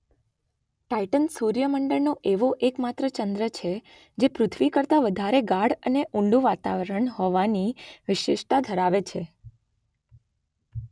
Titan સૂર્ય મંડળનો એવો એકમાત્ર ચંદ્ર છે જે પૃથ્વી કરતાં વધારે ગાઢ અને ઊંડું વાતાવરણ હોવાની વિશિષ્ટતા ધરાવે છે.